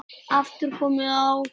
aftur komið á.